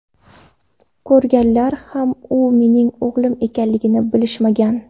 Ko‘rganlar ham u mening o‘g‘lim ekanligini bilishmagan.